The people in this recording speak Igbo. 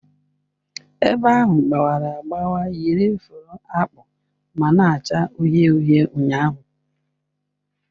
Ebe ahụ gbawara agbawa yiri fụrụ akpụ ma na-acha uhie uhie ụnyahụ